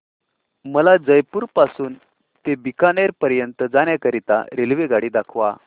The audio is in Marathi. मला जयपुर पासून ते बीकानेर पर्यंत जाण्या करीता रेल्वेगाडी दाखवा